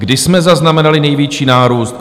Kdy jsme zaznamenali největší nárůst?